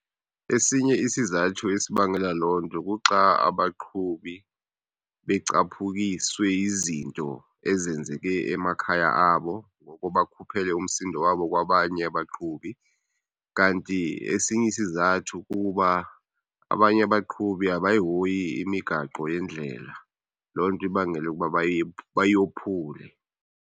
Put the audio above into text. Esinye isizathu esibangela loo nto kuxa abaqhubi becaphukiswe yizinto ezenzeke emakhaya abo ngoko bakhuphele umsindo wabo kwabanye abaqhubi. Kanti esinye isizathu kuba abanye abaqhubi abayihoyi imigaqo yendlela, loo nto ibangele ukuba bayophule.